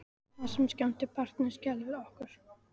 Það sem skemmti barninu skelfdi okkur.